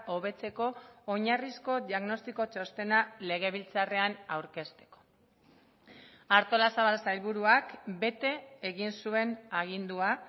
hobetzeko oinarrizko diagnostiko txostena legebiltzarrean aurkezteko artolazabal sailburuak bete egin zuen agindua